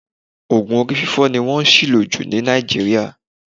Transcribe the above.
Oògùn orí fífọ́ ni wọ́n ṣìlò jù ní Nàìjíríà